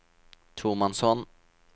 tomannshånd